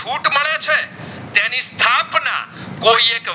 કોઈએ તો